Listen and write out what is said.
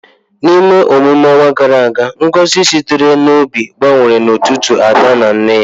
N’ime emume ọnwa gara aga, ngozi sitere n’obi gbanwere n’etiti Ada na nne ya.